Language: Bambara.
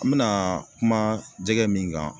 An mena kuma jɛgɛ min kan